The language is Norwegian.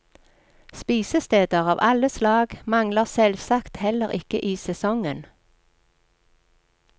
Spisesteder av alle slag mangler selvsagt heller ikke i sesongen.